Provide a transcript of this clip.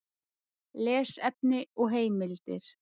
Lesefni og heimildir: